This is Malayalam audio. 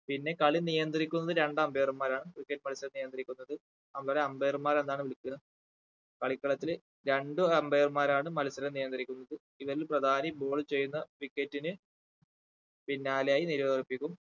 പിന്നെ കളി നിയന്ത്രിക്കുന്നത് രണ്ടു umpire മാരാണ് cricket മത്സരം നിയന്ത്രിക്കുന്നത് അവരെ umpire മാര് എന്നാണ് വിളിക്കുന്നത് കളിക്കളത്തിൽ രണ്ടു umpire മാരാണ് മത്സരം നിയന്ത്രിക്കുന്നത് ഇവരിൽ പ്രധാനി ball ചെയ്യുന്ന wicket ന് പിന്നാലെയായി നിരോദിപ്പിക്കും